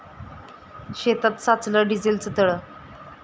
शेतात साचलं डिझेलचं तळं